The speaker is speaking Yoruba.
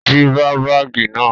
Jí bá báágì náà!